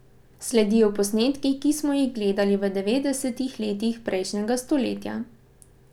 Sledijo posnetki, ki smo jih gledali v devetdesetih letih prejšnjega stoletja.